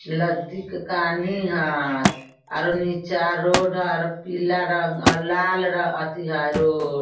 लद्धी के कानि हय और नीचा रोड हय और पीला रंग और लाल रंग अथी है रोड ।